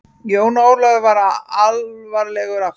Jón Ólafur varð alvarlegur aftur.